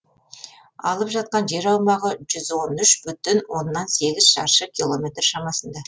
алып жатқан жер аумағы жүз он үшін бүтін оннан сегіз шаршы километр шамасында